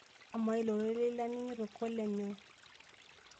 Amaa ilo rorei laning'ito kole nyoo?